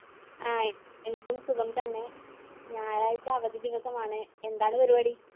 Hi എനിക്കും സുഖം തന്നെ ഞായറാഴ്ച അവധി ദിവസമാണ്. എന്താണ് പരിപാടി?